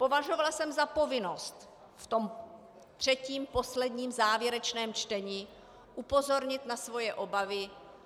Považovala jsem za povinnost v tom třetím, posledním, závěrečném čtení upozornit na své obavy.